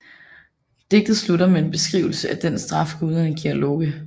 Digtet slutter med en beskrivelse af den straf guderne giver Loke